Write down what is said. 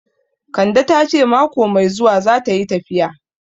Kande ta ce mako mai zuwa zata yi tafiya